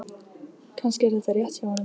Kannski er þetta rétt hjá honum.